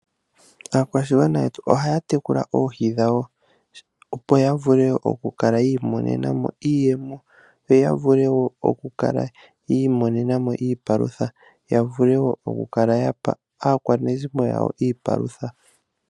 Aakwashigwana yetu oha ya tekula oohi dhawo opo yavule oku kala yi imonena mo iiyemo yawo, yo ishewe yavule oku imonena iipalutha opo ya pe aakwanezimo yawo.